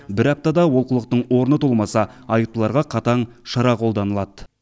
бір аптада олқылықтың орны толмаса айыптыларға қатаң шара қолданылады